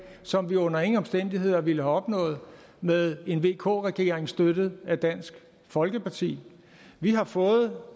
som vi under ingen omstændigheder ville have opnået med en vk regering støttet af dansk folkeparti vi har fået